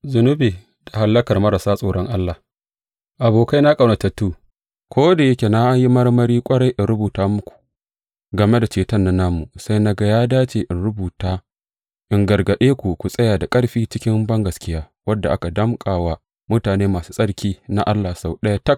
Zunubi da hallakar marasa tsoron Allah Abokaina ƙaunatattu, ko da yake na yi marmari ƙwarai in rubuta muku game da ceton nan namu, sai na ga ya dace in rubuta, in gargaɗe ku ku tsaya da ƙarfi cikin bangaskiya wadda aka danƙa wa mutane masu tsarki na Allah sau ɗaya tak.